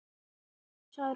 Já, sagði Rósa.